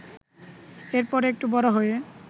এর পর একটু বড় হয়ে